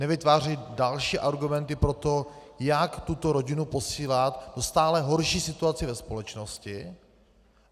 Nevytvářejme další argumenty pro to, jak tuto rodinu posílat do stále horší situace ve společnosti.